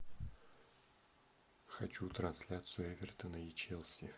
хочу трансляцию эвертона и челси